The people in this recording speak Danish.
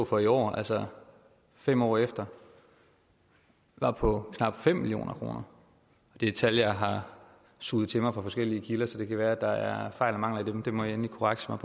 for i år altså fem år efter var på knap fem million kroner det er tal jeg har suget til mig fra forskellige kilder så det kan være at der er fejl og mangler i dem i må egentlig korrekse mig